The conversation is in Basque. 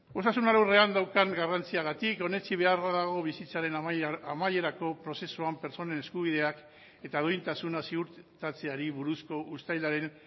osasun alorrean daukan garrantziagatik onetsi beharra dago bizitzaren amaierako prozesuan pertsonen eskubideak eta duintasuna ziurtatzeari buruzko uztailaren